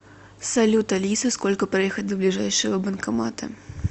салют алиса сколько проехать до ближайшего банкомата